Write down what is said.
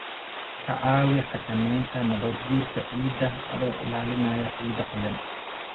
Ka caawi xakameynta nabaadguurka ciidda adoo ilaalinaya ciidda qoyan.